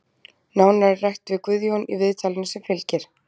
Nánar er rætt við Guðjón í viðtalinu sem fylgir.